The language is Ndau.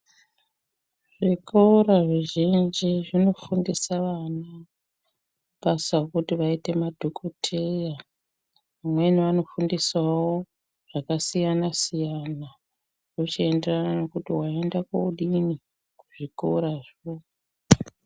Zvikora zvizhinji zvinofundisa vana basa kuti vaite madhokotheya, vamweni vanofundiswawo zvakasiyana-siyana ,zvochienderana nekuti waenda kodini, kuzvikorazvo.